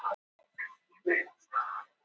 Af því geta menn séð að það er ekki lítið í vændum.